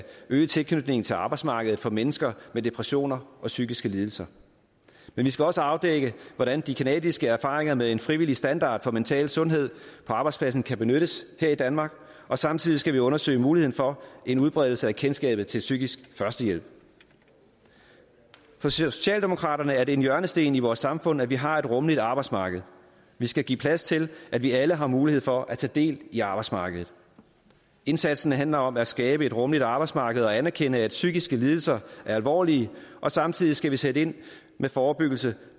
øge tilknytningen til arbejdsmarkedet for mennesker med depressioner og psykiske lidelser men vi skal også afdække hvordan de canadiske erfaringer med en frivillig standard for mental sundhed på arbejdspladsen kan benyttes her i danmark og samtidig skal vi undersøge muligheden for en udbredelse af kendskabet til psykisk førstehjælp for socialdemokraterne er det en hjørnesten i vores samfund at vi har et rummeligt arbejdsmarked vi skal give plads til at vi alle har mulighed for at tage del i arbejdsmarkedet indsatsen handler om at skabe et rummeligt arbejdsmarked og anerkende at psykiske lidelser er alvorlige og samtidig skal vi sætte ind med forebyggelse